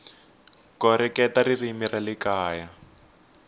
koreketa ririmi ra le kaya